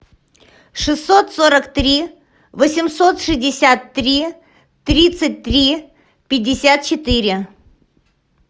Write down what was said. шестьсот сорок три восемьсот шестьдесят три тридцать три пятьдесят четыре